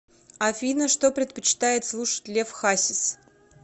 афина что предпочитает слушать лев хасис